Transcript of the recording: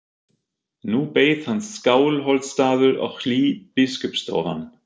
Nú beið hans Skálholtsstaður og hlý biskupsstofan.